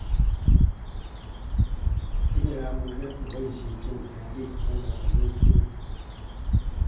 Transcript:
Tinye kamuget ne boisiechin olik eng kasarwek tugul